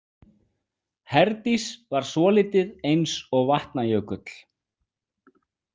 Herdís var svolítið eins og Vatnajökull.